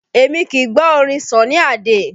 Èmi kì í gbọ́ orin Sunny Ade